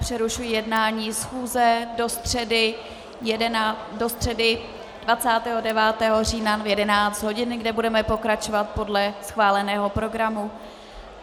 Přerušuji jednání schůze do středy 29. října v 11. hodin, kdy budeme pokračovat podle schváleného programu.